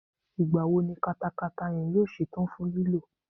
Ìgbà wo ni katakata yẹn yóò ṣe tán fún lílò?